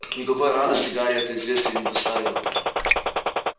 никакой радости гарри это известие не доставило